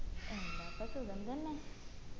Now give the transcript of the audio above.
എന്താപ്പാ സുഖം തന്നെ